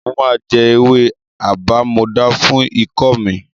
Mo máa jẹ ewé àbámọdá fún ikọ́ mi.